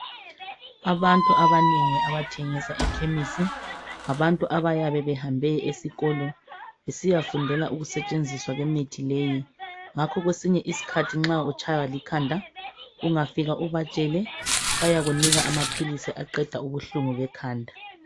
Abantu abanengi abathengisa ekhemisi ngabantu abayabe behambe esikolo besiyafundela ukusetshenziswa kwemithi leyi. Ingakho kwesinye isikhathi nxa utshaywa likhanda, ungafika ubatshele, bayakunika amaphilisi aqeda ubuhlungu bekhanda.